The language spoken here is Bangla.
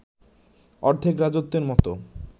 অর্ধেক রাজত্বের মতো